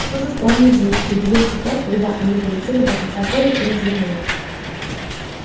что за странные звуки удивился фред когда они долетели до конца поля и развернулись